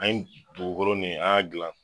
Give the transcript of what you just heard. An ye dugulɔlɔ nin an y'a gilan